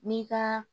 N'i ka